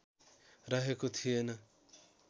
रहेको थिएन